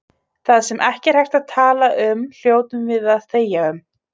Það sem ekki er hægt að tala um hljótum við að þegja um.